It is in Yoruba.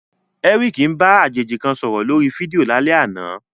Eric ń bá àjèjì kan sọ̀rọ̀ lórí fídíò lálẹ́ àná.